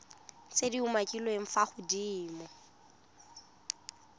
tse di umakiliweng fa godimo